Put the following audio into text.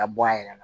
Ka bɔ a yɛrɛ la